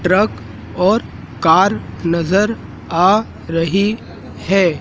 Truck और car नजर आ रही है।